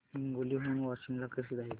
हिंगोली हून वाशीम ला कसे जायचे